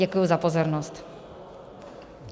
Děkuji za pozornost.